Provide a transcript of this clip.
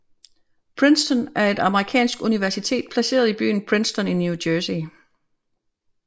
Princeton er et amerikansk universitet placeret i byen Princeton i New Jersey